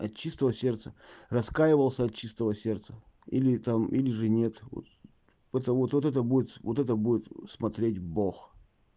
от чистого сердца раскаивался от чистого сердца или там или же нет это вот это будет вот это будет смотреть бог